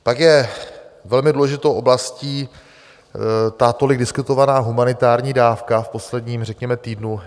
Pak je velmi důležitou oblastí ta tolik diskutovaná humanitární dávka v posledním řekněme týdnu.